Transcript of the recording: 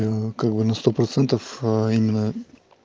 как бы на сто процентов а именно